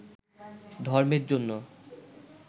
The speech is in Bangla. ধর্মের জন্য